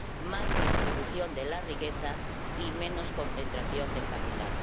Más distribución de la riqueza y menos concentración del capital.